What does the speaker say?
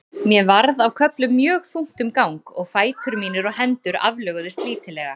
Mér varð á köflum mjög þungt um gang og fætur mínir og hendur aflöguðust lítillega.